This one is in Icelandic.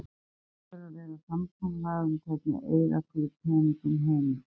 Það verður að vera samkomulag um hvernig eyða skuli peningum heimilisins.